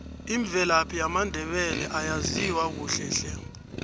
imvelaphi yamandebele ayaziwa kuhle hle